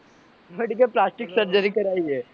plastic surgery કરાઈ હે